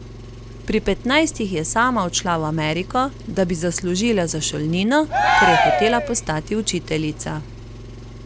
Pri petnajstih je sama odšla v Ameriko, da bi zaslužila za šolnino, ker je hotela postati učiteljica.